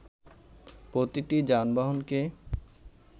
প্রতিটি যানবাহনকে